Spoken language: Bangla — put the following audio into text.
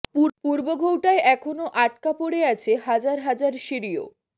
পূর্ব ঘৌটায় এখনও আটকা পড়ে আছে হাজার হাজার সিরীয়